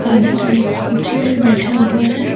काले कलर की कुर्सी पर बैठा हुआ है।